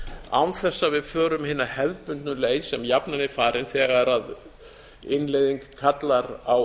að við förum hina hefðbundnu leið sem jafnan er farin þegar innleiðing kallar á